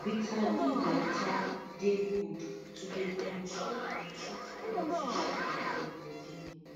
bitter leaf water dey good to dey control and treat plenty sugar for body